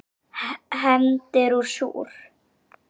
Hefndin er súr.